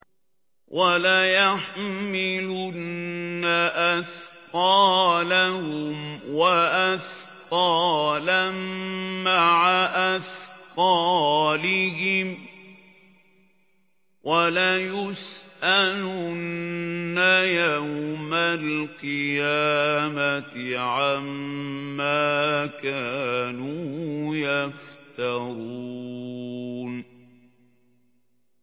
وَلَيَحْمِلُنَّ أَثْقَالَهُمْ وَأَثْقَالًا مَّعَ أَثْقَالِهِمْ ۖ وَلَيُسْأَلُنَّ يَوْمَ الْقِيَامَةِ عَمَّا كَانُوا يَفْتَرُونَ